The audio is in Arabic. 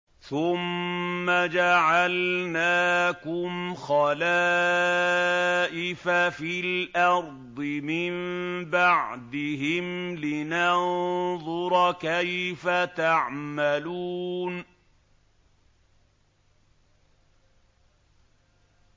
ثُمَّ جَعَلْنَاكُمْ خَلَائِفَ فِي الْأَرْضِ مِن بَعْدِهِمْ لِنَنظُرَ كَيْفَ تَعْمَلُونَ